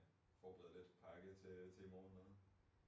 Forberede lidt fik pakket til i morgen og noget